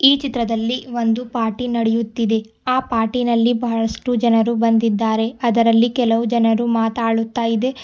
ಈ ಚಿತ್ರದಲ್ಲಿ ಒಂದು ಪಾರ್ಟಿ ನಡೆಯುತ್ತಿದೆ ಆ ಪಾರ್ಟಿನಲ್ಲಿ ಬಹಳಷ್ಟು ಜನರು ಬಂದಿದ್ದಾರೆ ಅದರಲ್ಲಿ ಕೆಲವು ಜನರು ಮಾತಾಡುತ್ತಾ ಇದೆ.